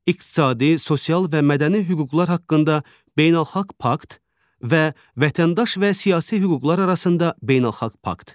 İqtisadi, sosial və mədəni hüquqlar haqqında beynəlxalq pakt və vətəndaş və siyasi hüquqlar arasında beynəlxalq pakt.